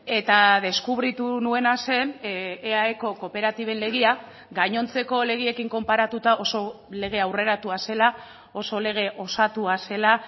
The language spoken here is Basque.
eta deskubritu nuena zen eaeko kooperatiben legea gainontzeko legeekin konparatuta oso lege aurreratua zela oso lege osatua zela